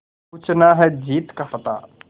पूछना है जीत का पता